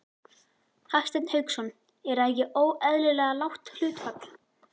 Hafsteinn Hauksson: Er það ekki óeðlilega lágt hlutfall?